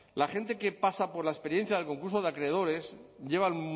la gente que pasa por la experiencia del concurso de acreedores lleva